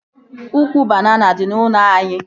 Ụkwụ banana dị n'ụlọ anyị